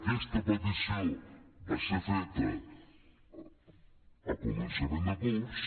aquesta petició va ser feta a començament de curs